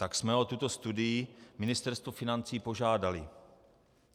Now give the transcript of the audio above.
Tak jsme o tuto studii Ministerstvo financí požádali.